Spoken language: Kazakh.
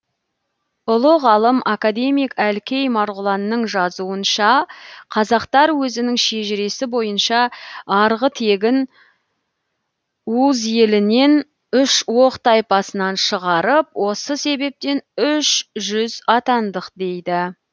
ұлы ғалым академик әлкей марғұланның жазуынша қазақтар өзінің шежіресі бойынша арғы тегін ууз елінен үш оқ тайпасынан шығарып осы себептен үш жүз атандық дейді